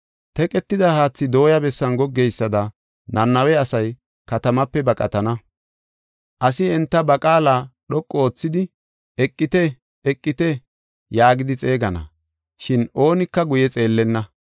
Teqetida haathi dooyi bessin goggeysada Nanawe asay katamaape baqatana. Asi enta ba qaala dhoqu oothidi, “Eqite! Eqite!” yaagidi xeegana, shin oonika guye xeellenna.